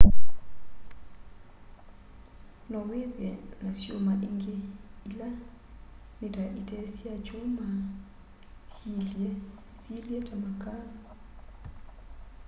no withe na syuma ingi ila ni ta ite sya kyuma syiilye ta makaa